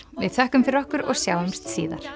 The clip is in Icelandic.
við þökkum fyrir okkur og sjáumst síðar